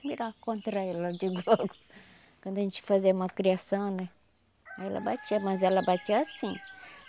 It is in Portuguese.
virava contra ela quando a gente fazia malcriação né, ela batia, mas ela batia assim.